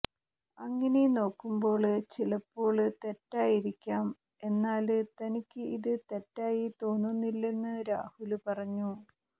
അങ്ങിനെ നോക്കുമ്പോള് ചിലപ്പോള് തെറ്റായിരിക്കാം എന്നാല് തനിക്ക് ഇത് തെറ്റായി തോന്നുന്നില്ലെന്ന് രാഹുല് പറഞ്ഞു